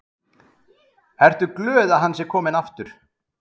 Hödd: Ertu glöð að hann sé kominn aftur?